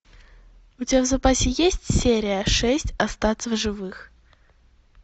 у тебя в запасе есть серия шесть остаться в живых